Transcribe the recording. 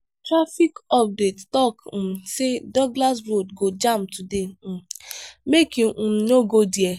traffic update tok um say douglas road go jam today um make you um no go there.